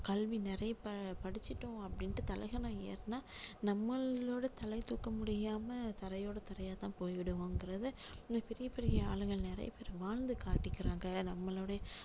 கல்வி நிறைய ப~படிச்சிட்டோம் அப்படின்னுட்டு தலைகனம் ஏறுனா நம்மளோட தலை தூக்க முடியாம தரையோட தரையா தான் போயிடுவோங்குறதை பெரிய பெரிய ஆளுங்க நிறைய பேரு வாழ்ந்து காட்டியிருக்காங்க நம்மளுடைய